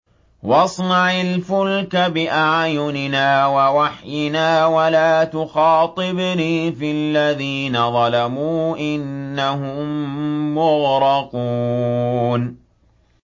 وَاصْنَعِ الْفُلْكَ بِأَعْيُنِنَا وَوَحْيِنَا وَلَا تُخَاطِبْنِي فِي الَّذِينَ ظَلَمُوا ۚ إِنَّهُم مُّغْرَقُونَ